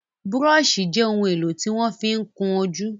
Búróṣì jẹ́ ohun èlò tí wọ́n ma fí ń kún ojú.